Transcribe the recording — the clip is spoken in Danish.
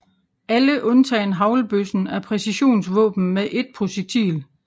Alle undtagen haglbøssen er præcisionsvåben med ét projektil